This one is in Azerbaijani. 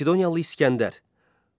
Makedoniyalı İsgəndər.